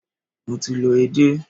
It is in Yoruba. Mo ti lọ edé.